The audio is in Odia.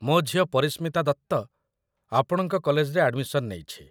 ମୋ ଝିଅ ପରିଶ୍ମିତା ଦତ୍ତ ଆପଣଙ୍କ କଲେଜରେ ଆଡ଼୍‌ମିସନ୍ ନେଇଛି